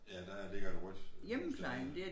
Ja der ligger et rødt hus dernede